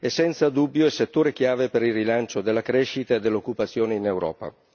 È senza dubbio il settore chiave per il rilancio della crescita e dell'occupazione in Europa.